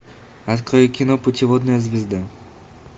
открой кино путеводная звезда